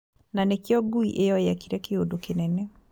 Na nĩkĩo ngui ĩyo yekire kĩũndu kinene